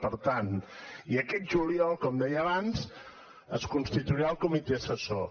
per tant i aquest juliol com deia abans es constituirà el comitè assessor